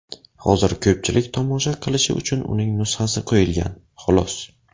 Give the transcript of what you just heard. Hozir ko‘pchilik tomosha qilishi uchun uning nusxasi qo‘yilgan, xolos.